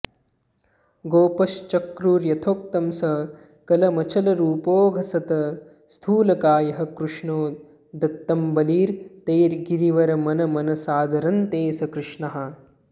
गोपाश्चक्रुर्यथोक्तं सकलमचलरूपोऽघसत् स्थूलकायः कृष्णो दत्तं बलिं तैर्गिरिवरमनमन् सादरं ते सकृष्णाः